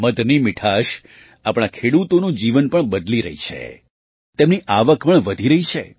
મધની મીઠાશ આપણા ખેડૂતોનું જીવન પણ બદલી રહી છે તેમની આવક પણ વધી રહી છે